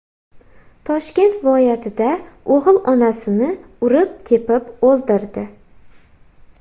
Toshkent viloyatida o‘g‘il onasini urib-tepib o‘ldirdi.